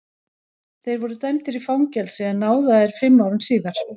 Þeir voru dæmdir í fangelsi en náðaðir fimm árum síðar.